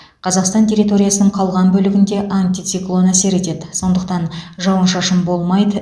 қазақстан территориясының қалған бөлігіне антициклон әсер етеді сондықтан жауын шашын болмайды